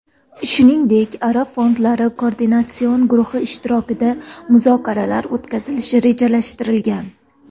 Shuningdek, arab fondlari koordinatsion guruhi ishtirokida muzokaralar o‘tkazilishi rejalashtirilgan.